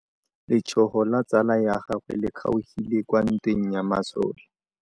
Letsôgô la tsala ya gagwe le kgaogile kwa ntweng ya masole.